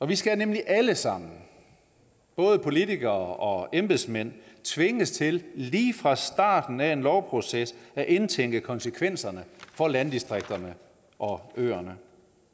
vi skal nemlig alle sammen både politikere og embedsmænd tvinges til lige fra starten af en lovproces at indtænke konsekvenserne for landdistrikterne og øerne